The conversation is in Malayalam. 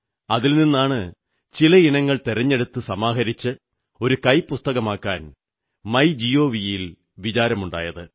അതിൽ നിന്നാണ് ചില ഇനങ്ങൾ തെരഞ്ഞെടുത്ത് സമാഹരിച്ച് ഒരു കൈപ്പുസ്തകമാക്കാൻ മൈ ഗവ് ന് വിചാരമുണ്ടായത്